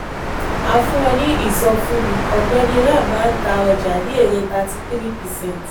a fún ọ ní ìsọfúnni: ọ̀gbẹ́ni ram máa ń ta ọjà ní èrè thirty three percent.